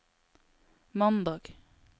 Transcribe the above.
mandag